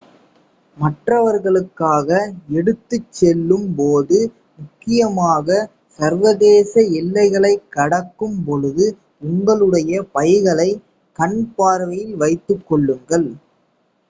மற்றவர்களுக்காக எடுத்துச்செல்லும் போது முக்கியமாக சர்வதேச எல்லைகளை கடக்கும் பொழுது உங்களுடைய பைகளை கண் பார்வையில் வைத்துக் கொள்ளுங்கள்